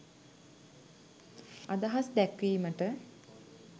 අදහස් දැක්වීමට